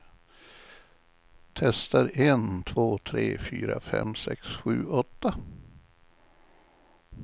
Testar en två tre fyra fem sex sju åtta.